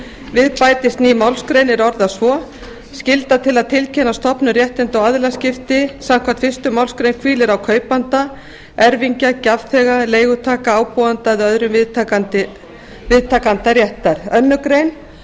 við bætist ný málsgrein er orðast svo skylda til að tilkynna stofnun réttinda og aðilaskipti samkvæmt fyrstu málsgrein hvílir á kaupanda erfingja gjafþega leigutaka ábúanda eða öðrum viðtakanda réttar annars grein